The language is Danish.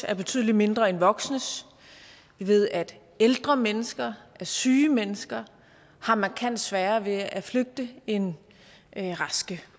er betydelig mindre end voksnes vi ved at ældre mennesker at syge mennesker har markant sværere ved at flygte end raske